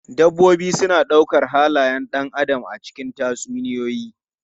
Dabbobi suna ɗaukar halayen ɗan adam a cikin tatsuniyoyi.